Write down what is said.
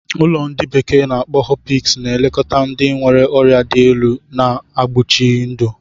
Ụlọ ndi bekee na-akpo Hospice na-elekọta ndị nwere ọrịa dị elu, na-egbochi ndụ.